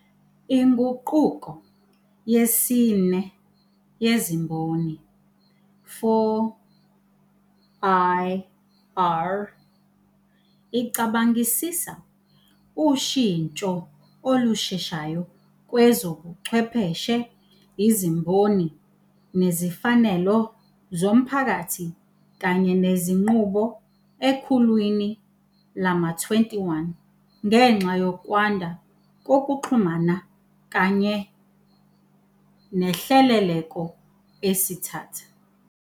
INguquko yesiNe yeziMboni, 4IR, icabangisisa ushintsho olusheshayo kwezobuchwepheshe, izimboni, nezifanelo zomphakathi kanye nezinqubo ekhulwini lama-21 ngenxa yokwanda kokuxhumana kanye nehleleleko esithatha.